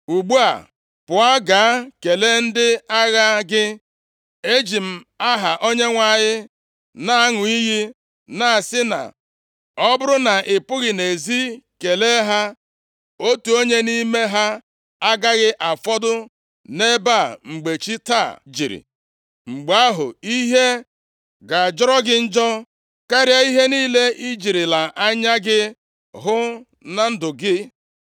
Ugbu a, pụọ gaa kelee ndị agha gị. Eji m aha Onyenwe anyị na-aṅụ iyi na-asị na ọ bụrụ na ị pụghị nʼezi kelee ha, otu onye nʼime ha agaghị afọdụ nʼebe a mgbe chi taa jiri, mgbe ahụ ihe ga-ajọrọ gị njọ karịa ihe niile i jirila anya gị hụ na ndụ gị.”